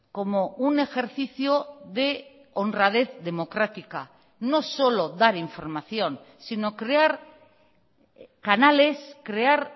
como un ejercicio de honradez democrática no solo dar información sino crear canales crear